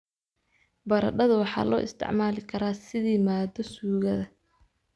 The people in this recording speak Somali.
Baradhadu waxaa loo isticmaali karaa sidii maaddo suugada.